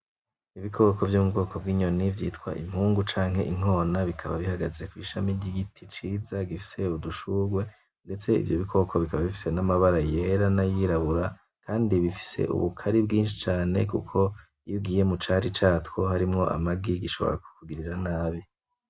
N'ibikoko vyo mubwoko bw'inyoni vyitwa impungu canke inkona , bikaba bihagaze kwishami ry'igiti ciza gifise udushurwe , ndetse ivyo bikoko bikaba bifise amabara yera nayirabura , kandi bifise ubukare bwinshi cane kuko iyo ugiye mucari catwo harimwo amagi gishobora kukugirira nabi.